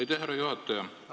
Aitäh, härra juhataja!